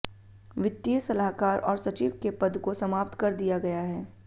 वित्तीय सलाहकार और सचिव के पद को समाप्त कर दिया गया है